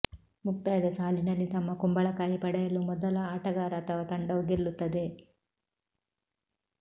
ಮುಕ್ತಾಯದ ಸಾಲಿನಲ್ಲಿ ತಮ್ಮ ಕುಂಬಳಕಾಯಿ ಪಡೆಯಲು ಮೊದಲ ಆಟಗಾರ ಅಥವಾ ತಂಡವು ಗೆಲ್ಲುತ್ತದೆ